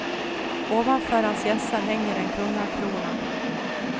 Ovanför hans hjässa hänger en kungakrona.